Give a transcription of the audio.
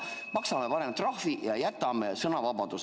Maksame parem trahvi ja jätame sõnavabaduse.